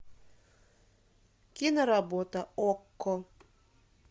киноработа окко